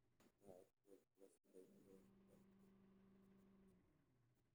Nooca kowaad waxa loo sii qaybin karaa saddex nooc oo hoose.